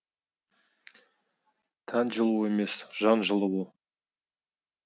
тән жылуы емес жан жылуы